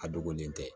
A dogolen tɛ